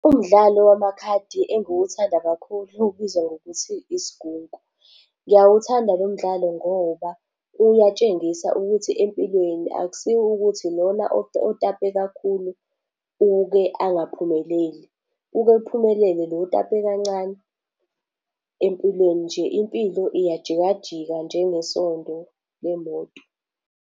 Umdlalo wamakhadi engiwuthanda kakhulu ubizwa ngokuthi isigunku. Ngiyawuthanda lo mdlalo ngoba uyatshengisa ukuthi empilweni akusiwo ukuthi lona otape kakhulu uke angaphumeleli. Uke aphumelele lona otape kancane empilweni nje. Impilo iyajika jika njengesondo lemoto.